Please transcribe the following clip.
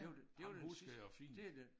Ja ham husker jeg fint